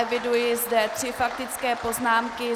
Eviduji zde tři faktické poznámky.